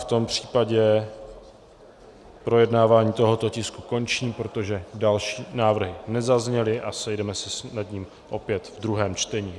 V tom případě projednávání tohoto tisku končím, protože další návrhy nezazněly, a sejdeme se nad ním opět v druhém čtení.